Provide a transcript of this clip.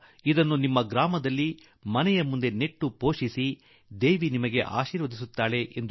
ಈ ಗಿಡವನ್ನು ನಿಮ್ಮ ಹಳ್ಳಿ ಮನೆಗೆ ಹಿಂತಿರುಗಿದ ಮೇಲೆ ಬೆಳೆಸಿ ಮಾತಾ ಅಂಬಾಜೀ ನಿಮಗೆ ಆಶೀರ್ವಾದ ಮಾಡುತ್ತಿರುತ್ತಾಳೆ